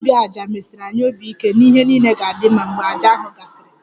Ndị dibia 'aja' mesiri anyị obi ike na ihe niile ga-adị mma mgbe àjà ahụ gasịrị